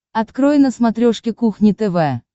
открой на смотрешке кухня тв